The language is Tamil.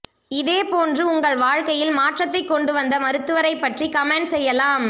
இதே போன்று உங்கள் வாழ்க்கையில் மாற்றத்தை கொண்டு வந்த மருத்துவரைப்பற்றி கமெண்ட் செய்யலாம்